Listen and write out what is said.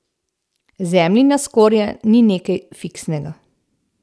Zemljina skorja ni nekaj fiksnega.